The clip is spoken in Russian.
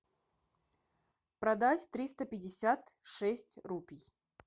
продать триста пятьдесят шесть рупий